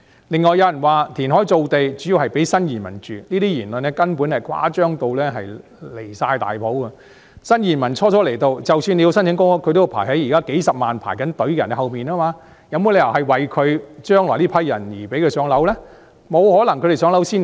另外，有人說填海造地計劃，主要是為了建屋給新移民居住，這言論根本是誇張得離譜，新移民初到埗，即使申請公屋，都要排在現時數十萬輪候人士後面，怎可能說填海造地計劃是為了將來讓這群人"上樓"呢？